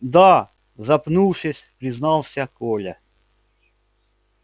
да запнувшись признался коля